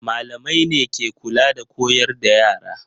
Malamai ne ke kula da koyar da yara.